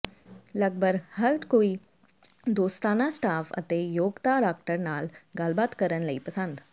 ਲਗਭਗ ਹਰ ਕੋਈ ਦੋਸਤਾਨਾ ਸਟਾਫ਼ ਅਤੇ ਯੋਗਤਾ ਡਾਕਟਰ ਨਾਲ ਗੱਲਬਾਤ ਕਰਨ ਲਈ ਪਸੰਦ